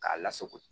K'a lasago